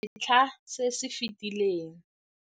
setlha se se fetileng.